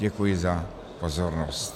Děkuji za pozornost.